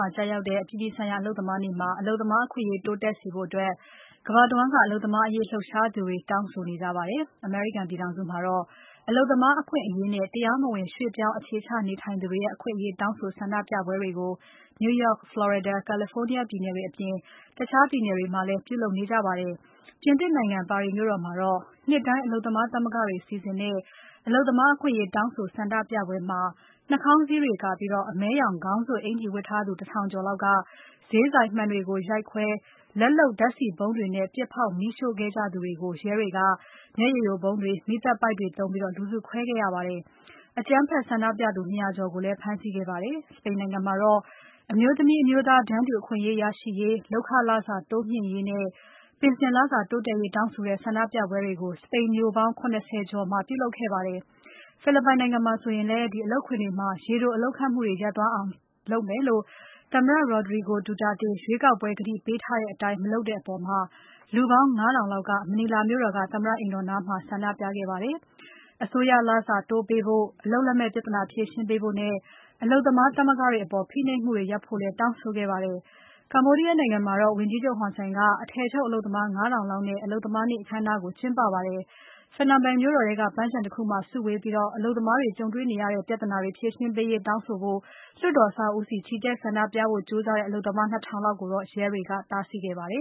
ှာကျရောက်တဲ့ အပြည်ပြည်ဆိုင်ရာ အလုပ်သမားနေ့မှာ အလုပ်သမားအခွင့်အရေး တိုးတက်စေဖို့ ကမ္ဘာတဝန်းက အလုပ်သမားအရေး လှုပ်ရှားသူတွေ တောင်းဆိုနေကြပါတယ်။ အမေရိကန်ပြည်ထောင်စုမှာတော့ အလုပ်သမားအခွင့်အရေးနဲ့ တရားမဝင် ရွှေ့ပြောင်းအခြေချနေထိုင်သူတွေရဲ့ အခွင့်အရေးတောင်းဆိုဆန္ဒပြပွဲတွေကို New York, Florida, California ပြည်နယ်တွေအပြင် တခြားပြည်နယ်တွေမှာ ပြုလုပ်နေကြပါတယ်။ ပြင်သစ်နိုင်ငံ ပါရီမြို့တော်မှာတော့ နှစ်တိုင်း အလုပ်သမားသမဂ္ဂတွေက စီစဉ်တဲ့ အလုပ်သမားအခွင့်အရေးတောင်းဆိုဆန္ဒပြပွဲမှာ နှာခေါင်းစည်းတွေကာပြီး အမဲရောင် ခေါင်းစွပ်အင်္ကျီဝတ်ထားသူ ၁ ထောင်ကျော်လောက်က ဈေးဆိုင်မှန်တွေကို ရိုက်ခွဲ လက်လုပ်ဓါတ်ဆီဗုံးတွေနဲ့ ပြစ်ဖေါက်မီးရှို့ခဲ့ကြသူတွေကို ရဲတွေက မျက်ရည်ယိုဗုံးတွေ၊ မီးသတ်ပိုက်တွေသုံးပြီး လူစုခွဲခဲ့ရပါတယ်။ အကြမ်းဖက် ဆန္ဒပြသူ ၂ ရာကျော်ကိုလည်း ဖမ်းဆီးခဲ့ပါတယ်။ စပိန်နိုင်ငံမှာတော့ အမျိုးသမီးအမျိုးသား တန်းတူအခွင့်အရေးရရှိရေး။ လုပ်ခလစာတိုးမြှင့်ရေးနဲ့ ပင်စင်လစာတိုးတက်ရေးတောင်းဆိုတဲ့ ဆန္ဒပြပွဲတွေကို စပိန်မြို့ပေါင်း ၇၀ ကျော်မှာ ပြုလုပ်ခဲ့ကြပါတယ်။ ဖိလစ်ပိုင်နိုင်ငံမှာဆိုရင်လည်း အလုပ်ခွင်တွေမှာ ရေတိုအလုပ်ခန့်မှုတွေ ရပ်သွားအောင်လုပ်မယ်လို့ သမ္မတ Rodrigo Duterte ရွေးကောက်ပွဲကတိပေးထားတဲ့အတိုင်း မလုပ်တဲ့အပေါ် လူပေါင်း ၅ ထောင်လောက် မနီလာမြို့တော်က သမ္မတအိမ်တော်နားမှာ ဆန္ဒပြခဲ့ကြပါတယ်။ အစိုးရလစာတိုးပေးဖို့။ အလုပ်လက်မဲ့ပြဿနာဖြေရှင်းပေးဖို့နဲ့ အလုပ်သမားသမဂ္ဂတွေအပေါ် ဖိနှိပ်မှုတွေရပ်ဖို့လည်း တောင်းဆိုခဲ့ကြပါတယ်။ Cambodia နိုင်ငံမှာတော့ ဝန်ကြီးချုပ် Hun Sen က အထည်ချုပ်အလုပ်သမား ၅ ထောင်လောက်နဲ့ အလုပ်သမားနေ့ အခမ်းအနားကို ကျင်းပခဲ့ပါတယ်။ Phnom Penh မြို့တော်ထဲက ပန်းခြံတခုမှာ စုဝေးပြီး အလုပ်သမားတွေကြုံတွေ့နေရတဲ့ ပြဿနာတွေ ဖြေရှင်းပေးရေးတောင်းဆိုဖို့ လွှတ်တော်အဆောက်အဦးဆီ ချီတက်ဆန္ဒပြဖို့ ကြိုးစားတဲ့ အလုပ်သမား ၂ ထောင်လောက်ကိုတော့ ရဲတွေက တားဆီးခဲ့ပါတယ